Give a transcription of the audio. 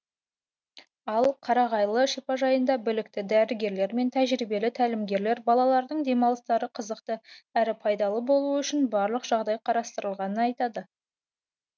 ал қарағайлы шипажайында білікті дәрігерлер мен тәжірибелі тәлімгерлер балалардың демалыстары қызықты әрі пайдалы болуы үшін барлық жағдай қарастырылғанын айтады